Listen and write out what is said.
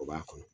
O b'a kɔnɔ